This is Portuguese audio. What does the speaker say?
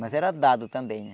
Mas era dado também, né?